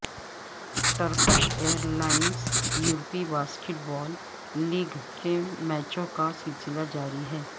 Turkish Airlines یورپی basketball league کے میچوں کا سلسلہ جاری ہے